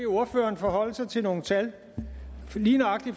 ordføreren forholde sig til nogle tal fra lige nøjagtig